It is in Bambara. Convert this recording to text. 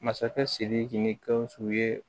Masakɛ sidiki ni gausu ye